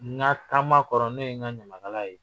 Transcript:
N ka taama kɔnɔ n'o ye n ka ɲamakalaya ye.